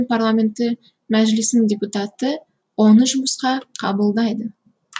парламенті мәжілісінің депутаты оны жұмысқа қабылдайды